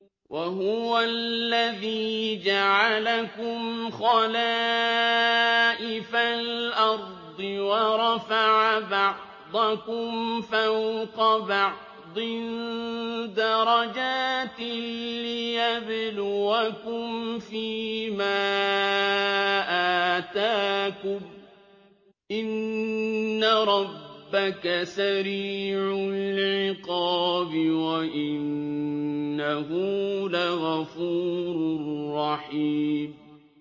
وَهُوَ الَّذِي جَعَلَكُمْ خَلَائِفَ الْأَرْضِ وَرَفَعَ بَعْضَكُمْ فَوْقَ بَعْضٍ دَرَجَاتٍ لِّيَبْلُوَكُمْ فِي مَا آتَاكُمْ ۗ إِنَّ رَبَّكَ سَرِيعُ الْعِقَابِ وَإِنَّهُ لَغَفُورٌ رَّحِيمٌ